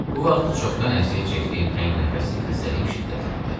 Bu vaxt çoxdan əziyyət çəkdiyim təngnəfəslik xəstəliyim şiddətləndi.